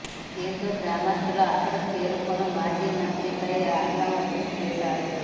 దీంతో గ్రామస్తులు అక్కడకు చేరుకొని మాజీ మంత్రిపై ఆగ్రహం వ్యక్తం చేశారు